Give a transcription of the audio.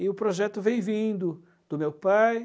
E o projeto vem vindo do meu pai.